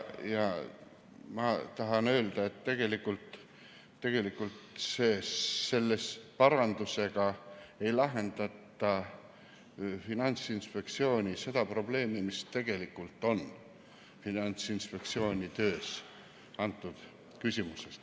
Ma tahan öelda, et selle parandusega ei lahendata seda Finantsinspektsiooni probleemi, mis tegelikult tema töös selles küsimuses esineb.